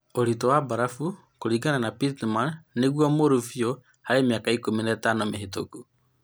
Ūritũ wa barafu, kũringana na Pittman, nĩguo mũru biũ ĩrarĩ ya ahingi mĩaka ikumi na ithano mĩhetũku